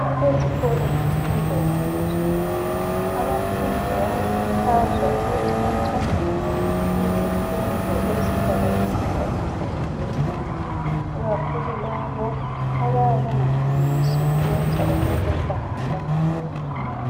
Ezikolo zemfundo yaphezulu abafundi bayakhuthazwa ukuthatha izifundo ezizabafundisa imisebenzi yezandla ikakhulu labo abayabe bengakwanisi ukwenza okokubala